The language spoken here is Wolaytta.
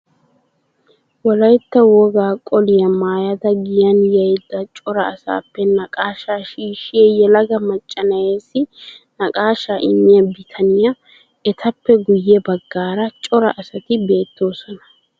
Wolatta wogaa qoliyaa maayada giyan yiiyada cora asaappe naqaashaa shiishshiya yelaga macca na'eessi naqaashaa immiyaa bitaniyaa. Etappe guyye baggaara cora asati beettoosona.